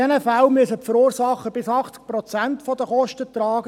In diesen Fällen müssen die Verursacher bis zu 80 Prozent der Kosten tragen.